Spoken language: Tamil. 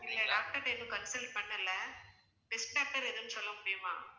இல்லை doctor ட்ட இன்னும் consult பண்ணலை எதுவும் சொல்ல முடியுமா